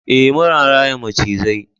eh muna raya macizai